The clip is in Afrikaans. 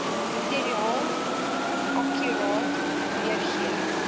materiaal akkuraat weergee